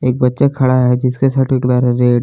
बच्चा खड़ा है जिसका सर्ट का कलर है रेड ।